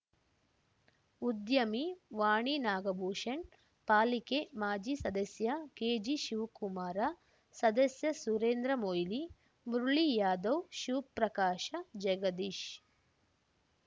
ಉದ್ಯಮಿ ವಾಣಿ ನಾಗಭೂಷಣ್‌ ಪಾಲಿಕೆ ಮಾಜಿ ಸದಸ್ಯ ಕೆಜಿಶಿವ್ ಕುಮಾರ ಸದಸ್ಯ ಸುರೇಂದ್ರ ಮೊಯ್ಲಿ ಮುರುಳಿ ಯಾದವ್‌ ಶಿವ್ ಪ್ರಕಾಶ ಜಗದೀಶ್